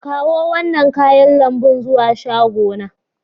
Kawo wannan kayan lambu zuwa shagona.